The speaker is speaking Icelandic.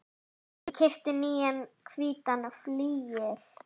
Ég keypti nýjan hvítan flygil.